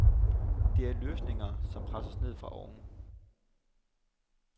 Det er løsninger, som presses ned fra oven.